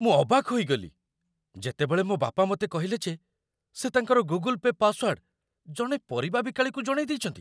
ମୁଁ ଅବାକ୍ ହୋଇଗଲି, ଯେତେବେଳେ ମୋ ବାପା ମୋତେ କହିଲେ ଯେ ସେ ତାଙ୍କର ଗୁଗୁଲ୍ ପେ' ପାସ୍‌ୱାର୍ଡ ଜଣେ ପରିବା ବିକାଳିକୁ ଜଣେଇ ଦେଇଚନ୍ତି।